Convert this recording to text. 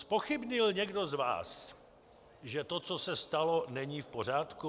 Zpochybnil někdo z vás, že to, co se stalo, není v pořádku?